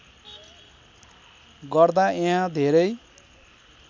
गर्दा यहाँ धेरै